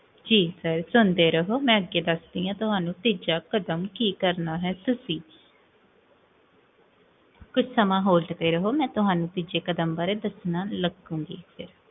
ਜੀ sir, ਸੁਣਦੇ ਰਹੋ, ਮੈਂ ਅੱਗੇ ਦਸਦੀ ਹਾਂ ਤੁਹਾਨੂ ਕੀ ਕਰਨਾ ਹੈ ਤੁਸੀਂ? ਕੁਛ ਸਮਾਂ ਹੋਲਡ ਤੇ ਰਹਵੋ, ਮੈਂ ਤੁਹਾਨੂੰ ਤੀਜੇ ਕਦਮ ਬਾਰੇ ਦਸਣ ਲ੍ਗੁਨ੍ਗੀ